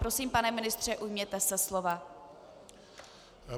Prosím, pane ministře, ujměte se slova.